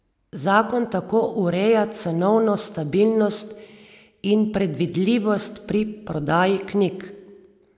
Zakon tako ureja cenovno stabilnost in predvidljivost pri prodaji knjig.